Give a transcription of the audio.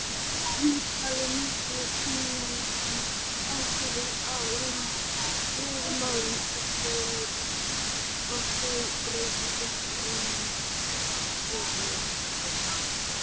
Hlutfallið milli kynjanna ákvarðast af lögmálum erfðafræðinnar og þau breytast ekki í einni heimstyrjöld.